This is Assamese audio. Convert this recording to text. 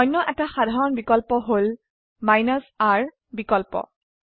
অনয় এটা সাধাৰণ বিকল্প হল r বিকল্প